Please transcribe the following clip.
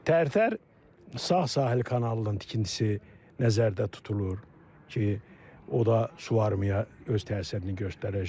Tərtər sağ sahil kanalının tikintisi nəzərdə tutulur ki, o da su varmıya öz təsirini göstərəcək.